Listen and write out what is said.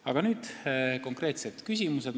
Aga nüüd konkreetsed küsimused.